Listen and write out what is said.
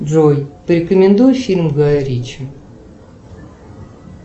джой порекомендуй фильм гая ричи